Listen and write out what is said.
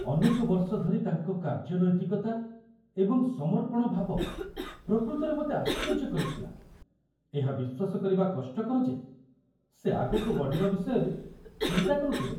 ଅନେକ ବର୍ଷ ଧରି ତାଙ୍କ କାର୍ଯ୍ୟ ନୈତିକତା ଏବଂ ସମର୍ପଣ ଭାବ ପ୍ରକୃତରେ ମୋତେ ଆଶ୍ଚର୍ଯ୍ୟ କରିଥିଲା, ଏହା ବିଶ୍ୱାସ କରିବା କଷ୍ଟକର ଯେ ସେ ଆଗକୁ ବଢ଼ିବା ବିଷୟରେ ଚିନ୍ତା କରୁଥିଲେ